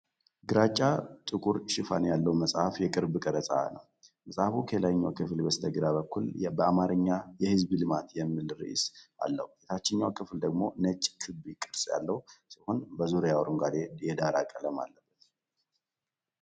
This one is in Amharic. ግራጫ-ጥቁር ሽፋን ያለው መጽሐፍ የቅርብ ቀረጻ ነው። መጽሐፉ ከላይኛው ክፍል በስተግራ በኩል በአማርኛ "የሕዝብ ልማት" የሚል ርዕስ አለው። የታችኛው ክፍል ደግሞ ነጭ ክብ ቅርጽ ያለው ሲሆን በዙሪያው አረንጓዴ የዳራ ቀለም አለበት።